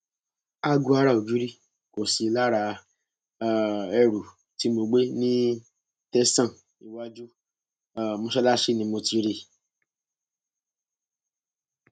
aago ara ògiri kò sí lára um ẹrù tí mo gbé ní tẹsán iwájú um mọṣáláṣí ni mo ti rí i